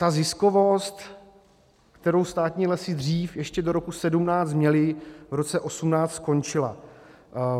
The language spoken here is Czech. Ta ziskovost, kterou státní lesy dřív, ještě do roku 2017, měly, v roce 2018 skončila.